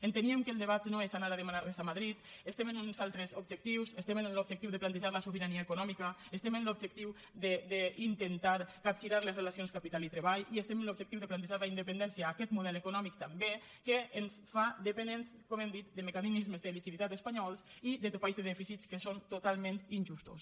enteníem que el debat no és anar a demanar res a madrid estem en uns altres objectius estem en l’objectiu de plantejar la sobirania econòmica estem en l’objectiu d’intentar capgirar les relacions capital i treball i estem en l’objectiu de plantejar la independència a aquest model econòmic també que ens fa dependents com hem dit de mecanismes de liquiditat espanyols i de topalls de dèficit que són totalment injustos